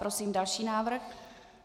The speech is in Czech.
Prosím další návrh.